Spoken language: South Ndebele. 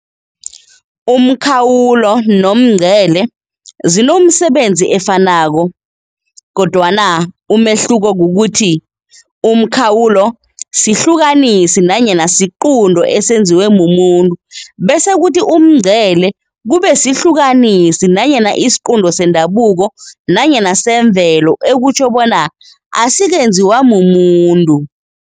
Umkhawulo nomngcele zinomsebenzi efanako, Kodwana, umehluko kukuthi ukhawulo sihlukanisi nanyana isiqunto esenziwe mumuntu bese kuthi umngcele kube sihlukanisi nanyana isiqunto sendabuko nanyana semvelo ekutjho bonyana asikenziwa mumuntu.